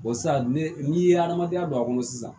sisan ne n'i ye adamadenya don a kɔnɔ sisan